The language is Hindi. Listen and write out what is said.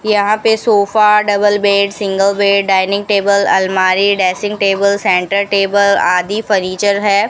यहां पे sofa double bed single bed dining table अलमारी ड्रेसिंग टेबल सेंटर टेबल आदि फर्नीचर है।